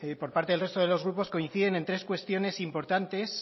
por parte del resto de los grupos coinciden en tres cuestiones importantes